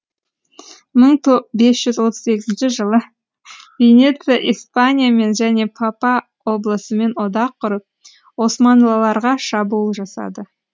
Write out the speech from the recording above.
мың бес жүз отыз сегізінші жылы венеция испаниямен және папа облысымен одақ құрып османлыларға шабуыл жасады